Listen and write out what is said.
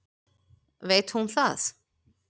Veit hún það?